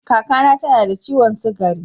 Kaka na ta na da ciwon sugari.